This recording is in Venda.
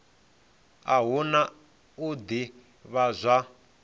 a hu na u ḓivhadzwa